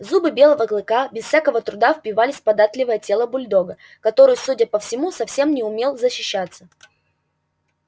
зубы белого клыка без всякого труда впивались в податливое тело бульдога который судя по всему совсем не умел защищаться